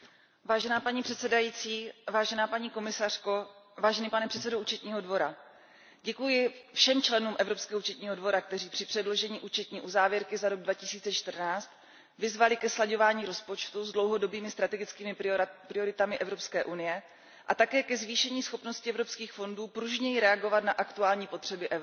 Paní předsedající, paní komisařko, pane předsedo Účetního dvora, děkuji všem členům Evropského účetního dvora, kteří při předložení účetní uzávěrky za rok 2014 vyzvali ke slaďování rozpočtu s dlouhodobými strategickými prioritami Evropské unie a také ke zvýšení schopnosti evropských fondů pružněji reagovat na aktuální potřeby Evropy.